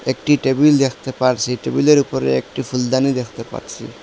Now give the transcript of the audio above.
একটি টেবিল দেখতে পারছি টেবিল -এর উপরে একটি ফুলদানি দেখতে পাচ্ছি।